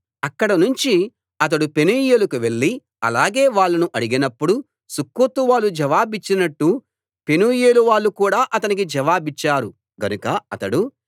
అక్కడనుంచి అతడు పెనూయేలుకు వెళ్ళి అలాగే వాళ్ళనూ అడిగినప్పుడు సుక్కోతు వాళ్ళు జవాబిచ్చినట్టు పెనూయేలువాళ్ళు కూడా అతనికి జవాబిచ్చారు గనుక అతడు